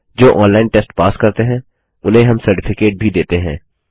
जो online test pass करते हैं उन्हें हम सर्टिफिकेट भी देते हैं